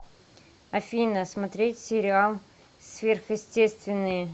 афина смотреть сериал сверхъестесственные